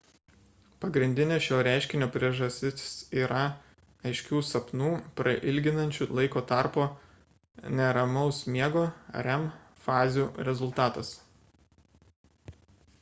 pagrindinė šio reiškinio priežastis yra aiškių sapnų prailginančių laiko tarp neramaus miego rem fazių rezultatas